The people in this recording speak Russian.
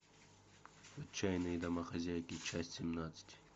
отчаянные домохозяйки часть семнадцать